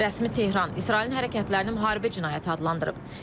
Rəsmi Tehran İsrailin hərəkətlərini müharibə cinayəti adlandırıb.